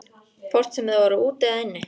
Hvort sem þeir voru úti eða inni.